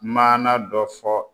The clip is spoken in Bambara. Maana dɔ fɔ.